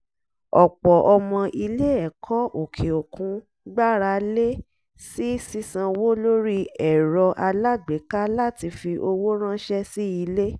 ọ̀pọ̀ ọmọ ilé-ẹ̀kọ́ òkè òkun gbára lé sí sísanwó lórí erò alágbèéká láti fi owó ránṣẹ́ sí ilé